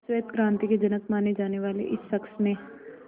श्वेत क्रांति के जनक माने जाने वाले इस शख्स ने